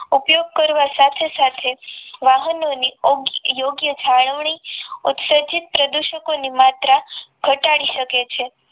ઉપયોગ કરવા સાથે સાથે વાહનોની યોગ્ય જાળવણી ઉસર્જિત પ્રદુષકોની માત્રા ઘટાડી શકે છે